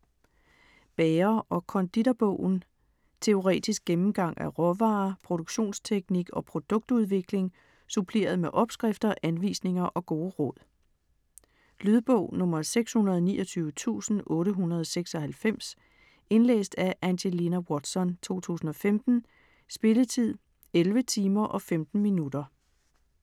Bager- og konditorbogen Teoretisk gennemgang af råvarer, produktionsteknik og produktudvikling suppleret med opskrifter, anvisninger og gode råd. Lydbog 629896 Indlæst af Angelina Watson, 2015. Spilletid: 11 timer, 15 minutter.